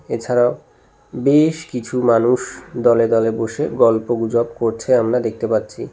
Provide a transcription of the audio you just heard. এছাড়াও বেশ কিছু মানুষ দলে দলে বসে গল্পগুজব করছে আমরা দেখতে পাচ্ছি।